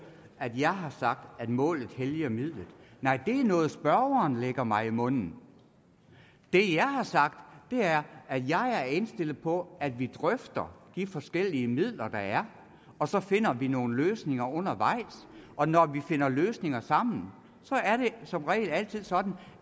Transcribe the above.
at jeg har sagt at målet helliger midlet nej det er noget spørgeren lægger mig i munden det jeg har sagt er at jeg er indstillet på at vi drøfter de forskellige midler der er og så finder vi nogle løsninger undervejs og når vi finder løsninger sammen er det som regel altid sådan